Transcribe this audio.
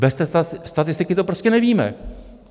Bez té statistiky to prostě nevíme.